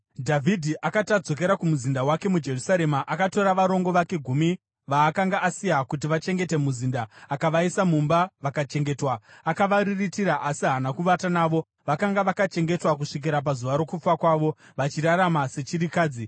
Dhavhidhi akati adzokera kumuzinda wake muJerusarema, akatora varongo vake gumi vaakanga asiya kuti vachengete muzinda akavaisa mumba vakachengetwa. Akavariritira asi haana kuvata navo. Vakanga vakachengetwa kusvikira pazuva rokufa kwavo, vachirarama sechirikadzi.